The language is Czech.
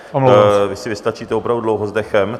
Vy si vystačíte opravdu dlouho s dechem.